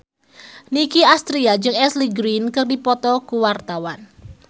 Nicky Astria jeung Ashley Greene keur dipoto ku wartawan